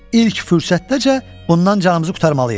İlk fürsətdəcə bundan canımızı qurtarmalıyıq.